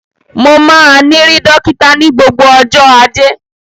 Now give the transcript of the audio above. Mo máa ni ri dokita ni gbogbo ọjọ ajé.